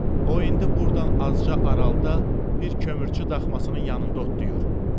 O indi burdan azca aralıda bir kömürçü daxmasının yanında otlayır.